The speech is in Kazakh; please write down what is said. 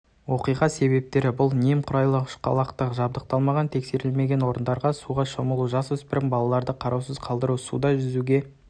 оқиға себебтері бұл немқұрайлық ұшқалақтық жабдықталмаған тексерілмеген орындарда суға шомылу жасөспірім балаларды қараусыз қалдыру суда жүзе